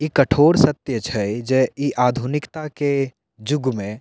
इ कठोर सत्य छै जे इ आधुनिकता के युग में --